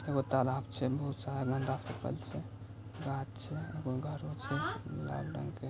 एगो तलाब छै बहुत सारा गंदा फेकल छै गाछ छै एगो घरों छै लाल रंग के--